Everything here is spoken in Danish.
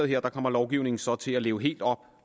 her kommer lovgivningen så til at leve helt op